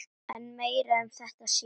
En meira um þetta síðar.